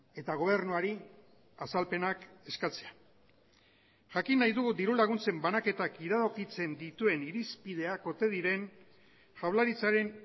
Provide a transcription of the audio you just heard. eta gobernuari azalpenak eskatzea jakin nahi dugu diru laguntzen banaketak iradokitzen dituen irizpideak ote diren jaurlaritzaren